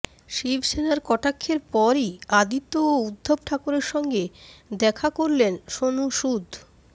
শিবসেনার কটাক্ষের পরই আদিত্য ও উদ্ধব ঠাকরের সঙ্গে দেখা করলেন সোনু সুদ